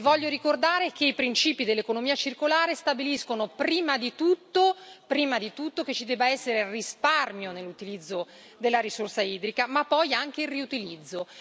Voglio ricordare che i principi dell'economia circolare stabiliscono, prima di tutto, che ci debba essere risparmio nell'utilizzo della risorsa idrica, ma poi anche il riutilizzo.